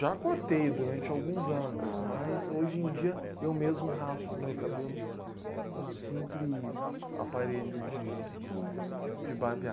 Já cortei durante alguns anos, mas hoje em dia eu mesmo raspo meu cabelo com um simples aparelho de, de barbear.